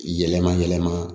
Yɛlɛma yɛlɛma